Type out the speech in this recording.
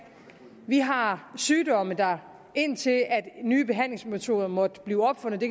vi har sygdomme der indtil nye behandlingsmetoder måtte blive opfundet